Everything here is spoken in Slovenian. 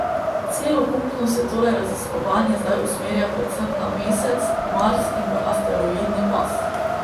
Celokupno se torej raziskovanje zdaj usmerja predvsem na Mesec, Mars in v asteroidni pas.